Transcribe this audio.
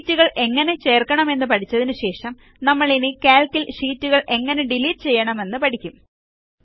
ഷീറ്റുകൾ എങ്ങനെ ചേർക്കണം എന്ന് പഠിച്ചതിനു ശേഷം നമ്മളിനി കാൽക്ക് ൽ ഷീറ്റുകൾ എങ്ങനെ ഡിലീറ്റ് ചെയ്യണമെന്ന് പഠിക്കും